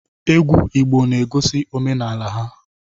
Egwu Igbo na-egosi omenala ha.